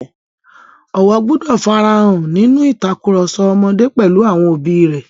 Ọ̀wọ̀ gbọdọ̀ fara hàn nínú ìtakùrọ̀sọ ọmọdé pẹ̀lú àwọn òbí rẹ̀.